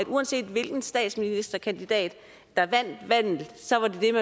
uanset hvilken statsministerkandidat der vandt valget